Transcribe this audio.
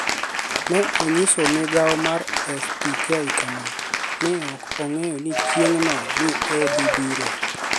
noniyiso migao mar AFP kama: "ni e ok anig'eyo nii chienig'no ni e odhi biro.